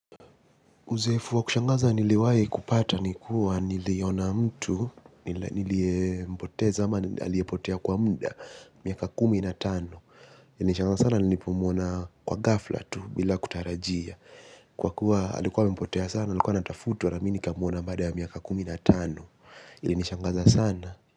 Uzoefu wa kushangaza niliwai kupata ni kuwa niliona mtu niliye mpoteza ama aliye potea kwa mda miaka kumi na tano nilishangaa sana nilipomuona kwa gafla tu bila kutarajia kwa kuwa alikuwa amepotea sana alikuwa anatafutwa na mi nikamuona baada ya miaka kumi na tano ilinishangaza sana.